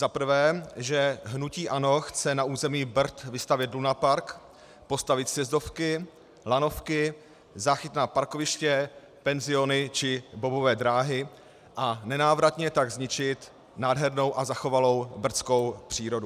Za prvé, že hnutí ANO chce na území Brd vystavět lunapark, postavit sjezdovky, lanovky, záchytná parkoviště, penziony či bobové dráhy, a nenávratně tak zničit nádhernou a zachovalou brdskou přírodu.